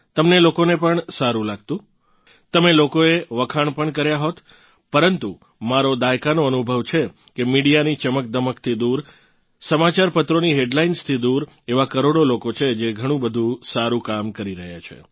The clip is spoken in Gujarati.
તમને લોકોને પણ સારું લાગતુ તમે લોકોએ વખાણ પણ કર્યા હોત પરંતુ મારો દાયકાનો અનુભવ છે કે મીડિયાની ચમકદમકથી દૂર સમાચારપત્રોની હેડલાઇન્સથી દૂર એવાં કરોડો લોકો છે જે ઘણું બધું સારું કામ કરી રહ્યાં છે